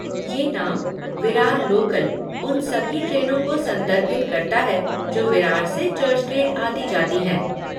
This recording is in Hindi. ये नाम, विरार लोकल, उन सभी ट्रेनों को संदर्भित करता है जो विरार से चर्च गेट आती जाती हैं।